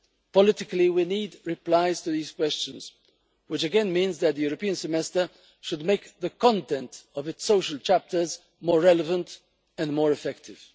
Politically, we need replies to these questions, which again means that the European semester should make the content of its social chapters more relevant and more effective.